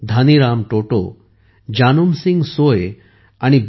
धानी राम टोटो जानुम सिंग सोय आणि बी